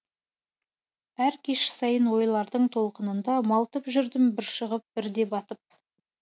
әр кеш сайын ойлардың толқынында малтып жүрдім бір шығып бірде батып